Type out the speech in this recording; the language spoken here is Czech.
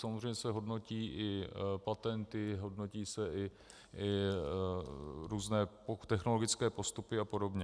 Samozřejmě se hodnotí i patenty, hodnotí se i různé technologické postupy a podobně.